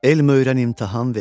Elm öyrən, imtahan ver.